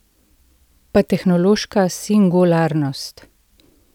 Pa tehnološka singularnost ...